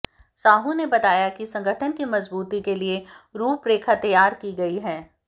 साहू ने बताया कि संगठन की मजबूती के लिए रूपरेखा तैयार की गई है